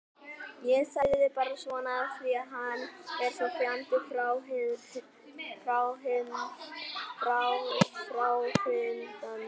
Ég sagði bara svona af því að hann er svo fjandi fráhrindandi.